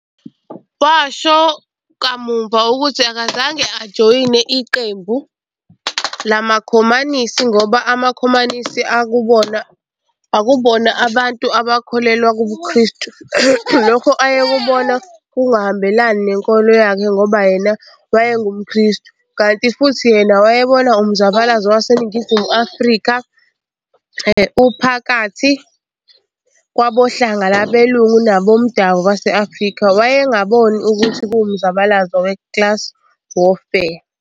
Washo kamuva ukuthi akazange ajoyine Iqembu lamaKhomanisi, ngoba amakhomanisi akubona abantu abakholelwa kubuKrestu lokhu ayekubona kungahambelani nenkolo yakhe ngoba yena wayengumKrestu, kanti futhi yena wayebona umzabalazo waseNingizimu Afrika uphakathi kwabohlanga lwabelungu nabomdabu base-Afrika, wayengabona ukuthi kuwumzabalazo we-class warfare.